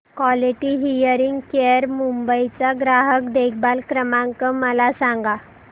quality hearing care Mumbai चा ग्राहक देखभाल क्रमांक मला सांगा